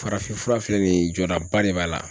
Farafinfura filɛ nin ye jɔdaba de b'a la